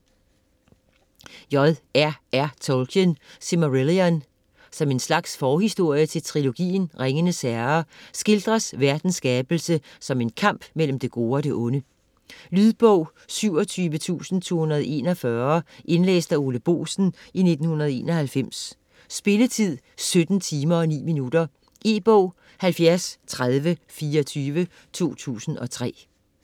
Tolkien, J. R. R.: Silmarillion Som en slags forhistorie til trilogien "Ringenes herre", skildres verdens skabelse som en kamp mellem det gode og det onde. Lydbog 27241 Indlæst af Ole Boesen, 1991. Spilletid: 17 timer, 9 minutter. E-bog 703024 2003.